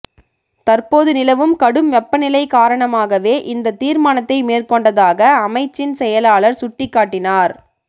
தற்போது நிலவும் கடும் வெப்பநிலை காரணமாகாவே இந்தத் தீர்மானத்தை மேற்கொண்டதாக அமைச்சின் செயலாளர் சுட்டிக்காட்டினார்